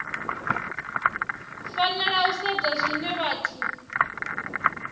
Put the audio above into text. fanela u sedzwa zwine vhathu